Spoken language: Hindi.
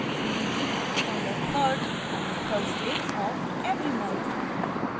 we meet on the 3rd thursday of every month